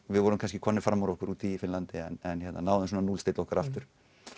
við vorum kannski komnir fram úr okkur úti í Finnlandi en náðum að núllstilla okkur aftur